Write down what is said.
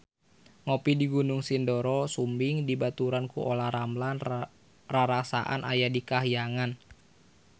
Ngopi di Gunung Sindoro Sumbing dibaturan ku Olla Ramlan rarasaan aya di kahyangan